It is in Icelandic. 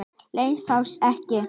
Lánsfé fáist ekki.